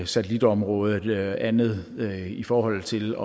satellitområdet eller andet i forhold til